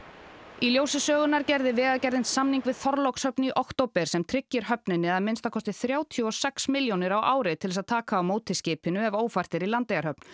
í ljósi sögunnar gerði Vegagerðin samning við Þorlákshöfn í október sem tryggir höfninni að minnsta kosti þrjátíu og sex milljónir á ári til að taka á móti skipinu ef ófært er í Landeyjahöfn